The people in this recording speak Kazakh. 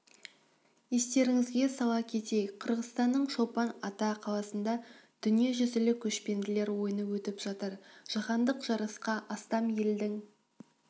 естеріңізге сала кетейік қырғызстанның чолпан ата қаласында дүниежүзілік көшпенділер ойыны өтіп жатыр жаһандық жарысқа астам елдің